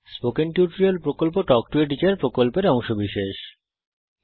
spoken tutorial প্রকল্প talk to a teacher প্রকল্পের অংশবিশেষ